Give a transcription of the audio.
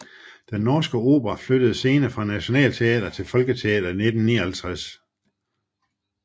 Den Norske Opera flyttede scene fra Nationaltheatret til Folketeatret i 1959